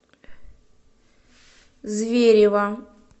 зверево